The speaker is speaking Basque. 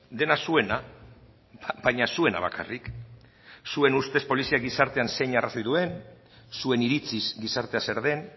dena zuena baina zuena bakarrik zuen ustez poliziak gizartean zein arrazoi duen zuen iritziz gizartea zer den